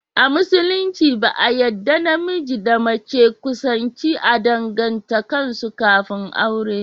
A musulunci ba a yadda namiji da mace kusanci a danganta kansu kafin aure